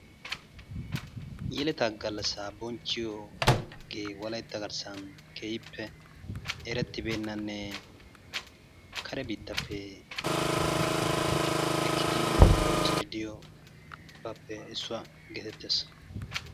Yeletaa gallassaa bonchchiyogee wolaytta garssan daroppe erettibeennanne kare biittaappe ekkidi bonchchiiddi de'iyogaappe issuwa geetettees.